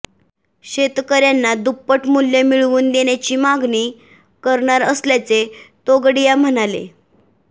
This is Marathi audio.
शेतकऱयांना दुप्पट मूल्य मिळवून देण्याची मागणी करणार असल्याचे तोगडिया म्हणाले